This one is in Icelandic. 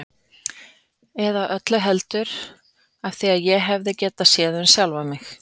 Eða öllu heldur: af því ég hefði getað séð sjálfan mig.